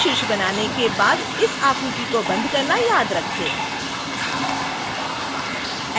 3 शीर्ष बनाने के बाद इस आकृति को बंद करना याद रखें